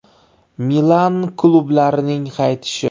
Milan klublarining qaytishi.